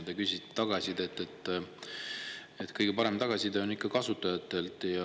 Te küsisite tagasisidet, aga kõige parem tagasiside on ikka kasutajatelt.